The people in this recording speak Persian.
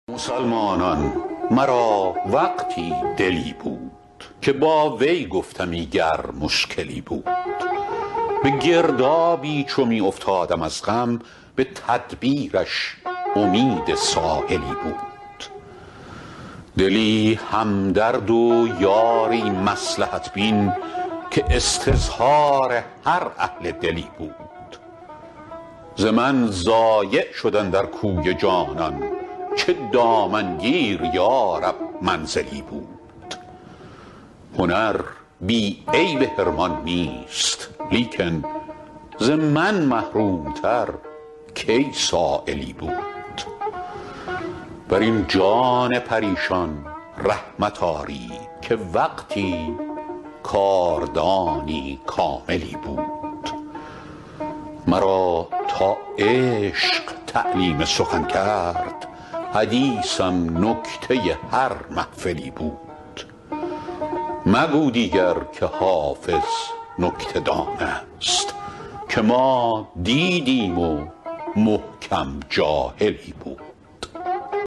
مسلمانان مرا وقتی دلی بود که با وی گفتمی گر مشکلی بود به گردابی چو می افتادم از غم به تدبیرش امید ساحلی بود دلی همدرد و یاری مصلحت بین که استظهار هر اهل دلی بود ز من ضایع شد اندر کوی جانان چه دامنگیر یا رب منزلی بود هنر بی عیب حرمان نیست لیکن ز من محروم تر کی سایلی بود بر این جان پریشان رحمت آرید که وقتی کاردانی کاملی بود مرا تا عشق تعلیم سخن کرد حدیثم نکته هر محفلی بود مگو دیگر که حافظ نکته دان است که ما دیدیم و محکم جاهلی بود